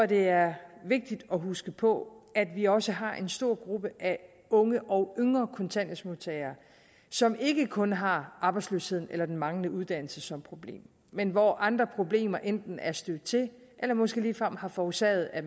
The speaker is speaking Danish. det er vigtigt at huske på at vi også har en stor gruppe af unge og yngre kontanthjælpsmodtagere som ikke kun har arbejdsløsheden eller den manglende uddannelse som problem men hvor andre problemer enten er stødt til eller måske ligefrem har forårsaget at